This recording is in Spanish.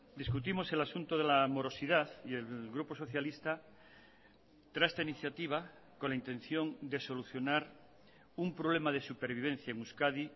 discutimos el asunto de la morosidad y el grupo socialista trae esta iniciativa con la intención de solucionar un problema de supervivencia en euskadi